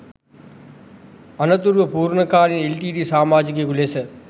අනතුරුව පූර්ණකාලීන එල්.ටී.ටී.ඊ සමාජිකයෙකු ලෙස